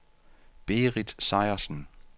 Berit Sejersen